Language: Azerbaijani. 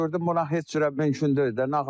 Gördüm ona heç cürə mümkün deyil də.